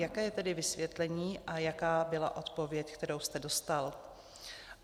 Jaké je tedy vysvětlení a jaká byla odpověď, kterou jste dostal?